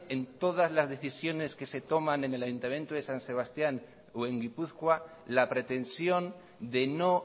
en todas las decisiones que se toman en el ayuntamiento de san sebastián o en gipuzkoa la pretensión de no